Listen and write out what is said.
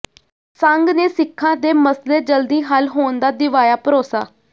ਸੰਘ ਨੇ ਸਿੱਖਾਂ ਦੇ ਮਸਲੇ ਜਲਦੀ ਹੱਲ ਹੋਣ ਦਾ ਦਿਵਾਇਆ ਭਰੋਸਾ